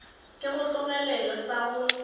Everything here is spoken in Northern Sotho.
ke go tlogelele sa go